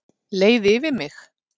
Leið yfir mig?